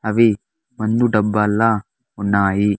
అవి మందు డబ్బాల్లా ఉన్నాయి.